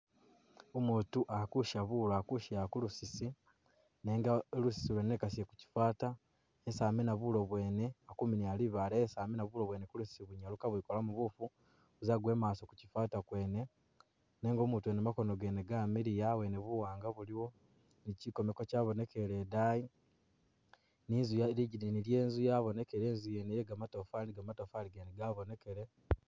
Umutu akusha bulo, ali kushela kulusisi nenga lusisi lwene wekasile kuchifata isi amina bulo bwene akuminila libale, esi aminila bulo bwene kulusisi kwene bulikabwikolamu bufu buzagwa imaso kuchifata kwene nenga umutu wene makono gene gamiliya awene buwanga buliwo ne chikomeka kyabonekele edayi ne inzu lidigina lye'nzu lyabonekele, inzu yene ye gamatafari gamatafari gene gabonekele